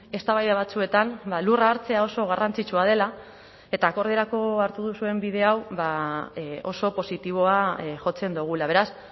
eztabaida batzuetan lurra hartzea oso garrantzitsua dela eta akordiorako hartu duzuen bide hau oso positiboa jotzen dugula beraz